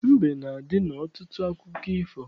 Mbe na-adị n'ọtụtụ akụkọ ifo